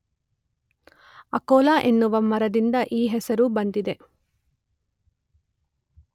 ಅಕೊಲಾ ಎನ್ನುವ ಮರದಿಂದ ಈ ಹೆಸರು ಬಂದಿದೆ.